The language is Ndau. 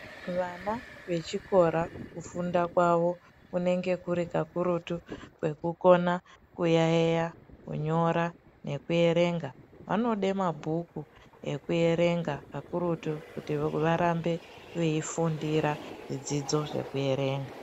Vana vechikora kufunda kwavo kunenge kuri kakurutu kwekukona kuyaiya, kunyora nekuerenga , vanode mabhuku ekuerenga kakurutu kuti varambe veifundira zvidzidzo zvekuerenga.